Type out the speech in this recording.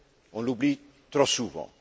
On l'oublie trop souvent.